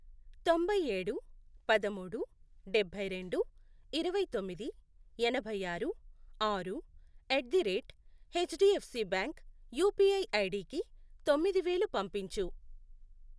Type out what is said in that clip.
తొంభై ఏడు, పదమూడు, డభైరెండు, ఇరవై తొమ్మిది, ఎనభై ఆరు, ఆరు, at the rate HDFC bank UPI ఐడికి తొమ్మిది వేలు పంపించు.